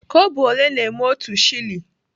Kobo ole na-eme otu shilling?